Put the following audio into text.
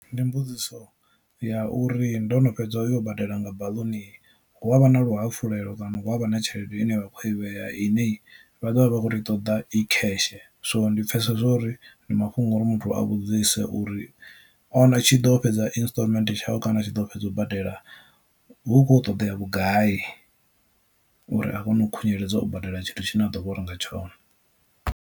Ndi mbudziso ya uri ndo no fhedza u yo badela nga baḽuni hu avha na luhafhulelo kana hu avha na tshelede ine vha khou i vhea ine vha ḓovha vha kho to i ṱoḓa i cash, so ndi pfhesesa zwo uri ndi mafhungo uri muthu a vhudzise uri a tshi ḓo fhedza instalment tshawe kana a tshi ḓo fhedza u badela hu khou ṱoḓea vhugai uri a kone u khunyeledza u badela tshithu tshine a ḓo vha u renga tshone.